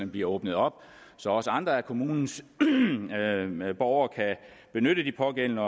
bliver åbnet op så også andre af kommunens borgere kan benytte de pågældende